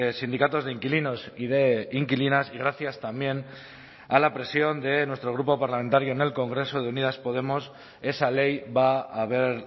sindicatos de inquilinos y de inquilinas y gracias también a la presión de nuestro grupo parlamentario en el congreso de unidas podemos esa ley va a ver